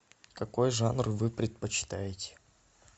какой жанр вы предпочитаете